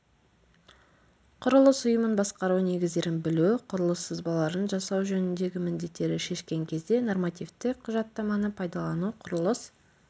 құрылыс ұйымын басқару негіздерін білу құрылыс сызбаларын жасау жөніндегі міндеттерді шешкен кезде нормативтік құжаттаманы пайдалану құрылыс